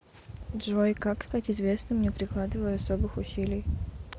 джой как стать известным не прикладывая особых усилий